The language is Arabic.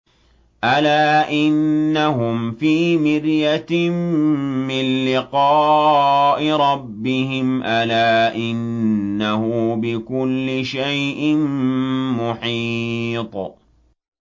أَلَا إِنَّهُمْ فِي مِرْيَةٍ مِّن لِّقَاءِ رَبِّهِمْ ۗ أَلَا إِنَّهُ بِكُلِّ شَيْءٍ مُّحِيطٌ